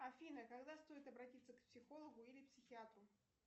афина когда стоит обратиться к психологу или психиатру